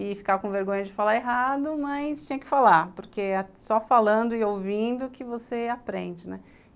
e ficar com vergonha de falar errado, mas tinha que falar, porque é só falando e ouvindo que você aprende, né?